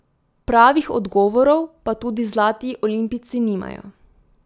Pravih odgovorov pa tudi zlati olimpijci nimajo.